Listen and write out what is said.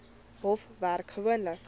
hof werk gewoonlik